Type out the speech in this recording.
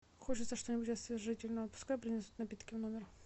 хочется что нибудь освежительного пускай принесут напитки в номер